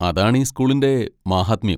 അതാണീ സ്കൂളിന്റെ മാഹാത്മ്യം.